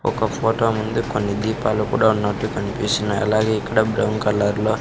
ఒక ఫోటో ముందే కొన్ని దీపాలు కూడా ఉన్నట్టు కనిపిస్తున్నాయి అలాగే ఇక్కడ బ్రౌన్ కలర్ లో.